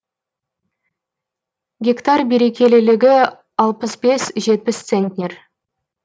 гектар берекелілігі алпыс бес жетпіс центнер